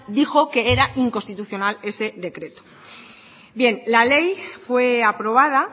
dijo que era inconstitucional ese decreto bien la ley fue aprobada